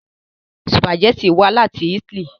Sùpàgẹ́tì wá láti Italy